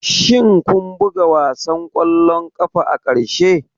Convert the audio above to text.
Shin kun buga wasan ƙwallon ƙafa na ƙarshe?